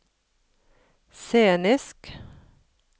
scenisk